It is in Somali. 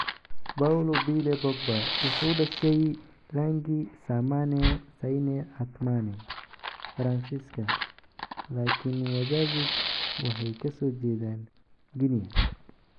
Paul Labile Pogba wuxuu dhashay Lagny-sur-Marne, Seine-et-Marne, Faransiiska, laakiin wazaziis waxay ka soo jeedaan Guinea.